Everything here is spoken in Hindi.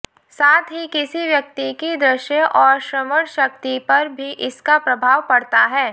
साथ ही किसी व्यक्ति की दृश्य और श्रवण शक्ति पर भी इसका प्रभाव पड़ता है